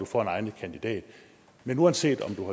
får en egnet kandidat men uanset om